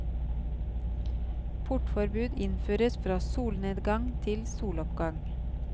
Portforbud innføres fra solnedgang til soloppgang.